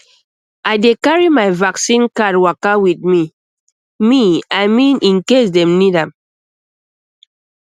i dey carry my vaccine card waka with me me i mean in case dem need am